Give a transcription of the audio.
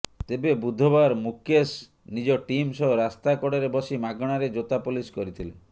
ତେବେ ବୁଧବାର ମୁକେଶ ନିଜ ଟିମ୍ ସହ ରାସ୍ତା କଡ଼ରେ ବସି ମାଗଣାରେ ଜୋତା ପଲିସ କରିିଥିଲେ